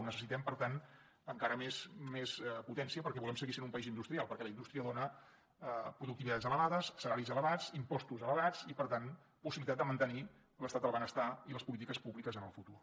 necessitem per tant encara més potència perquè volem seguir sent un país industrial perquè la indústria dona productivitats elevades salaris elevats impostos elevats i per tant possibilitat de mantenir l’estat del benestar i les polítiques públiques en el futur